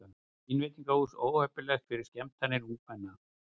Telja vínveitingahús óheppileg fyrir skemmtanir ungmenna